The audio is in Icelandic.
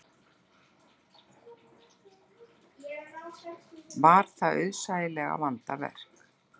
Var það auðsæilega vandað verk.